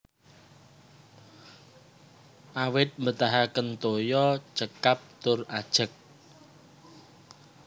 Awit mbetahaken toya cekap tur ajeg